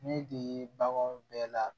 Ne de ye baganw bɛɛ la